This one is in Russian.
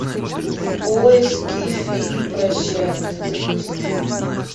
в поиске фильм прощание запусти